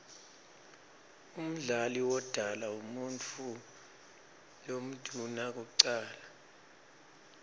umdali wodala umuutfu lomdouna kucala